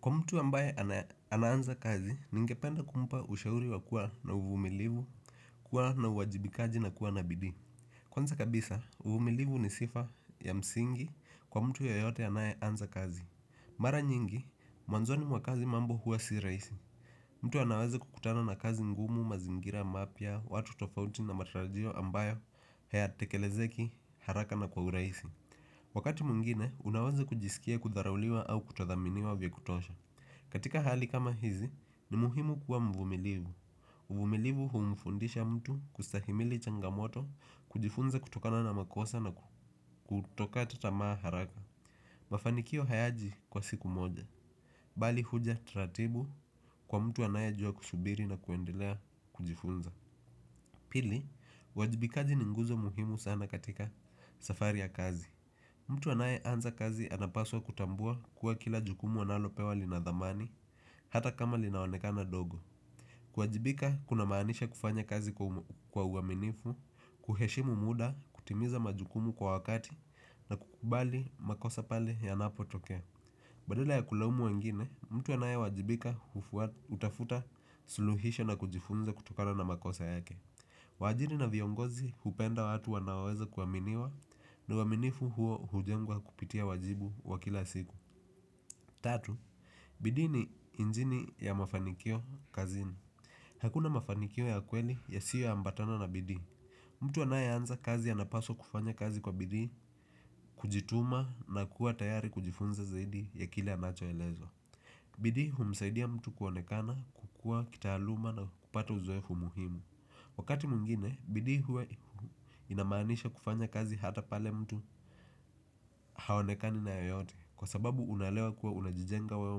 Kwa mtu ambaye ananza kazi, ningependa kumpa ushauri wa kuwa na uvumilivu, kuwa na uwajibikaji na kuwa nabidi. Kwanza kabisa, uvumilivu ni sifa ya msingi kwa mtu yoyote anaye anza kazi. Mara nyingi, mwanzoni mwakazi mambo huwa si raisi. Mtu anaweza kukutana na kazi ngumu mazingira mapia, watu tofauti na matarajio ambayo haya tekelezeki haraka na kwa uraisi. Wakati mungine, unaweze kujisikia kudharulia au kutathaminiwa vya kutosha. Katika hali kama hizi ni muhimu kuwa mvumilivu. Mvumilivu humfundisha mtu kustahimili changamoto kujifunza kutokana na makosa na kutoka tatamaa haraka. Mafanikio hayaji kwa siku moja. Bali huja tratibu kwa mtu anaye jua kushubiri na kuendilea kujifunza. Pili, wajibikaji ninguzo muhimu sana katika safari ya kazi. Mtu anaye anza kazi anapaswa kutambua kuwa kila jukumu analo pewa linadhamani. Hata kama linawonekana dogo kuwajibika kuna maanisha kufanya kazi kwa uaminifu. Kuheshimu muda, kutimiza majukumu kwa wakati na kukubali makosa pale ya napo tokea badala ya kulamu wengine, mtu anae wajibika utafuta suluhisho na kujifunza kutokano na makosa yake. Wajiri na viongozi hupenda watu wanaweza kuwaminiwa. Na uaminifu huo hujengwa kupitia wajibu wa kila siku tatu. Bidi ni injini ya mafanikio kazini. Hakuna mafanikio ya kweli ya siyo ambatana na bidi. Mtu anaye anza kazi ya napaswa kufanya kazi kwa bidi kujituma na kuwa tayari kujifunza zaidi ya kile anachoelezwa. Bidi humsaidiya mtu kuonekana, kukua, kitahaluma na kupata uzoefu muhimu. Wakati mungine, bidi hue inamanisha kufanya kazi hata pale mtu hawonekani na yoyote. Kwa sababu unalewa kuwa unajijenga wewe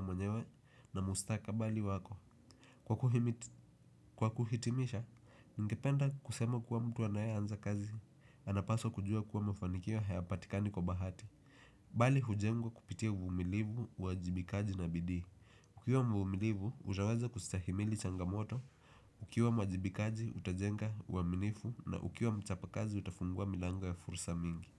mwenyewa na mustaka bali wako. Kwa kuhitimisha, ningependa kusema kuwa mtu anaya anza kazi anapaswa kujua kuwa mafanikio hayapatikani kwa bahati. Bali hujengwa kupitia uvumilivu, wajibikaji na bidih. Ukiwa mvumilivu, utaweza kustahimili changamoto. Ukiwa mwajibikaji utajenga waminifu na ukiwa mchapa kazi utafungua milango ya fursa mingi.